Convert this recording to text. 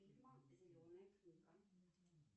фильм зеленая книга